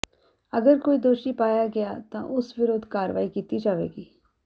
ਅਗਰ ਕੋਈ ਦੋਸ਼ੀ ਪਾਇਆ ਗਿਆ ਤਾਂ ਉਸ ਵਿਰੁਧ ਕਾਰਵਾਈ ਕੀਤੀ ਜਾਵੇਗੀ